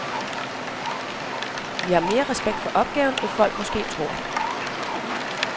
Vi har mere respekt for opgaven, end folk måske tror.